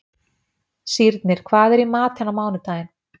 Sírnir, hvað er í matinn á mánudaginn?